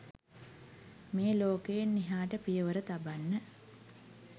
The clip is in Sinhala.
මේ ලෝකයෙන් එහාට පියවර තබන්න